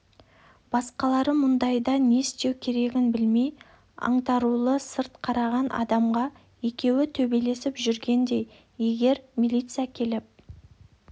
басқалары мұндайда не істеу керегін білмей аңтарулы сырт қараған адамға екеуі төбелесіп жүргендей егер милиция келіп